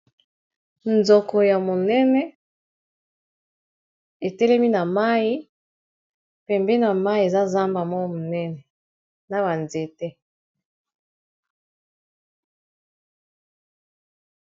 Nzoko ya monene etelemi na mai, pembeni na mai eza zamba moko ya monene na ba nzete.